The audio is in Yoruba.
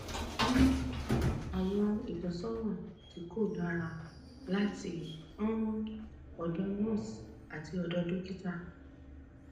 nigbana ni um ori rẹ yi pada ni ori rẹ ori um re um si pada